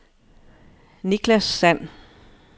Nicklas Sand